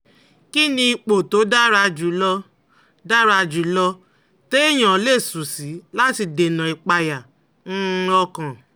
Kí ni ipò tó dára jù lọ dára jù lọ téèyàn lè sùn sí láti dènà ìpayà um ọkàn?